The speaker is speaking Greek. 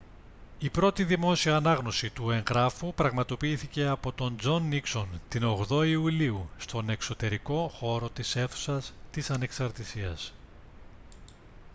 η πρώτη δημόσια ανάγνωση του εγγράφου πραγματοποιήθηκε από τον τζον νίξον την 8η ιουλίου στον εξωτερικό χώρο της αίθουσας της ανεξαρτησίας